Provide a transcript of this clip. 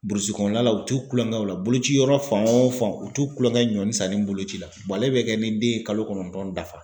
Burusi kɔnɔna la u t'u kulonkɛ o la. Boloci yɔrɔ fan wo fan ,u t'u kulonkɛ ɲɔnnin san ni boloci la ale bɛ kɛ ni den ye kalo kɔnɔntɔn dafa.